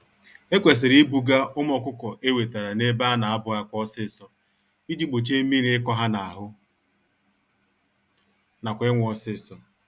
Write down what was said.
Ekwesịrị ibuga ụmụ ọkụkọ ewetara n'ebe ana abụ-àkwà ọsịsọ, iji gbochie mmírí ịkọ ha n'ahụ, nakwa ịnwụ ọsịsọ.